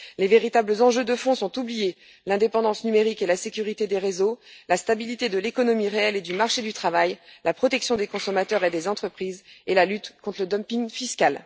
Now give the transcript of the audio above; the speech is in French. Les véritables enjeux de fond sont oubliés l'indépendance numérique et la sécurité des réseaux, la stabilité de l'économie réelle et du marché du travail, la protection des consommateurs et des entreprises, et la lutte contre le dumping fiscal.